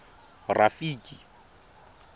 rafiki